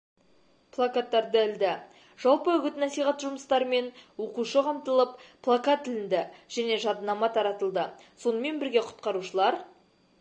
плакаттарды ілді жалпы үгіт-насихат жұмыстарымен оқушы қамтылып плакат ілінді және жадынама таратылды сонымен бірге құтқарушылар